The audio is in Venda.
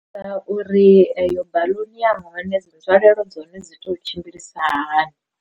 Nga uri eyo baḽuni ya hone dzi nzwalelo dza hone dzi to tshimbilisa hani.